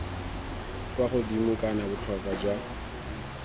kwa godimo kana botlhokwa jwa